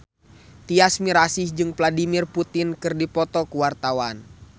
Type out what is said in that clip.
Tyas Mirasih jeung Vladimir Putin keur dipoto ku wartawan